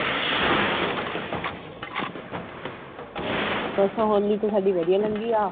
ਵੈਸੇ ਹੋਲੀ ਤਾਂ ਸਾਡੀ ਵਧੀਆ ਲੰਗੀ ਆ